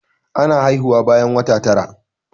Ana haihuwa bayan wata tara.